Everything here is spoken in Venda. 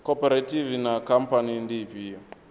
khophorethivi na khamphani ndi ifhio